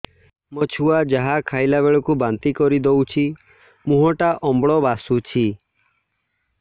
ମୋ ଛୁଆ ଯାହା ଖାଇଲା ବେଳକୁ ବାନ୍ତି କରିଦଉଛି ମୁହଁ ଟା ବହୁତ ଅମ୍ଳ ବାସୁଛି